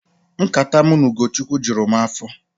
Nkata mụ na ukochukwu jụrụ m afọ